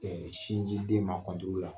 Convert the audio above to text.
sinji den ma